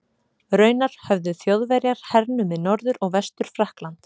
Raunar höfðu Þjóðverjar hernumið Norður- og Vestur-Frakkland.